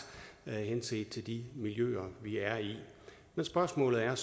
henset til de miljøer vi er i men spørgsmålet er